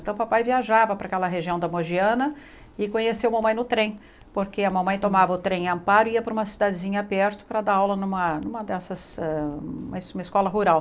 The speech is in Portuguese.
Então o papai viajava para aquela região da Mogiana e conheceu a mamãe no trem, porque a mamãe tomava o trem Amparo e ia para uma cidadezinha perto para dar aula numa numa dessas ah uma es escola rural.